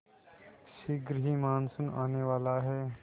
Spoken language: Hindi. शीघ्र ही मानसून आने वाला है